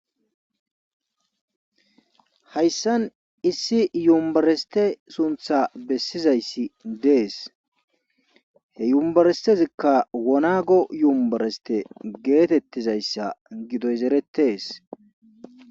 hayssan issi yumbareste suntha bessizayssi dees he yumbarestezikka wonago yumbareste geetettizayssa gidoyzerettes